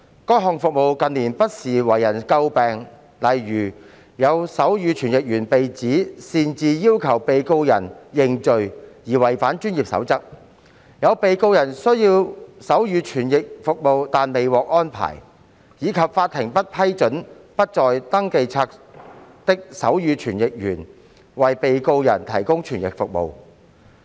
該項服務近年不時為人詬病，例如有手語傳譯員被指擅自要求被告人認罪而違反專業守則、有被告人需要手語傳譯服務但未獲安排，以及法庭不批准不在登記冊的手語傳譯員為被告人提供傳譯服務。